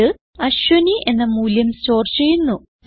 ഇത് അശ്വിനി എന്ന മൂല്യം സ്റ്റോർ ചെയ്യുന്നു